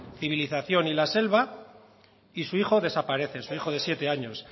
civilización y la selva y su hijo desaparece su hijo de siete años